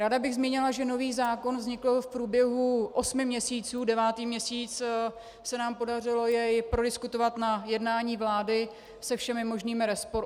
Ráda bych zmínila, že nový zákon vznikl v průběhu osmi měsíců, devátý měsíc se nám podařilo jej prodiskutovat na jednání vlády se všemi možnými rozpory.